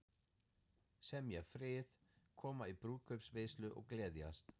Semja frið, koma í brúðkaupsveislu og gleðjast.